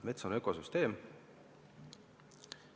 Mets on ökosüsteem.